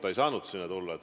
Ta ei saanud sinna tulla.